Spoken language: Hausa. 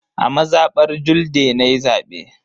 A mazabar Julde nayi zabe.